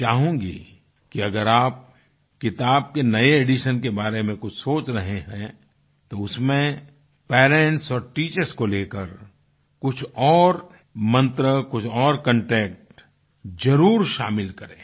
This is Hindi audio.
मैं चाहूंगी कि अगर आप किताब के नए एडिशन के बारे में कुछ सोच रहे हैं तो उसमें पेरेंट्स और टीचर्स को लेकर कुछ और मंत्र कुछ और कंटेंट जरुर शामिल करें